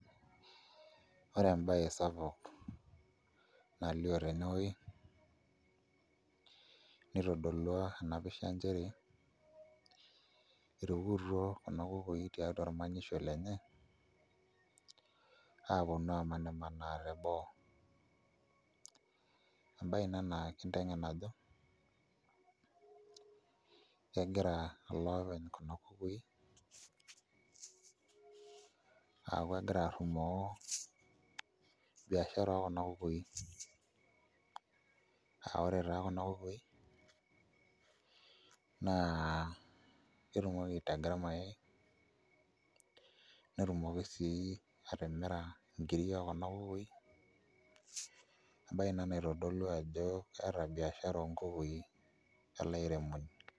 Ore embaye sapuk nalioo tene wuoi nitodolua Ina pisha nchere, eetuo Kuna kukui tiatua ormanyisho lenye aaponu aamanimanaa teboo embaye ina naa kinteng'en ajo kegira ele openy kuna kukui aaku egira arrumoo biashara ekuna kukui aa ore taa Kuna kukui naa ketumoki aitaga irmayaai netumoki sii atimira nkiri okuna kukui embaye ina naitodolu ajo keeta biashara onkukui ele airemoni.